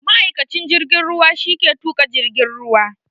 Ma'aikacin jirgin ruwa shi ke tuƙa jirgin ruwa